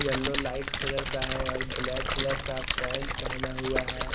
Yellow light colour का है और ब्लैक कलर का पेंट पेहना हुआ है।